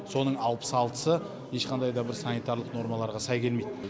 соның алпыс алтысы ешқандайда бір санитарлық нормаларға сай келмейді